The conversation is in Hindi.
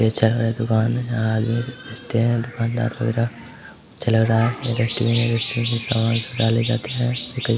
ये चाय का एक दुकान है --